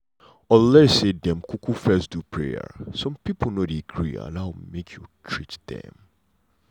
unless say dem um fess do prayer some pipo no dey gree allow make you treat dem.